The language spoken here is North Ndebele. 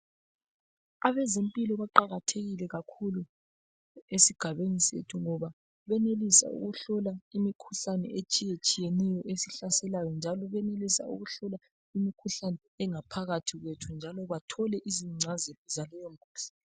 Abezempilo baqakathekile kakhulu esigabeni sethu ngoba benelisa ukuhlola imikhuhlane etshiyetshiyeneyo esihlaselayo njalo benelisa ukuhlola imikhuhlane engaphakathi kwethu njalo bathole izichazelo zaleyo mikhuhlane.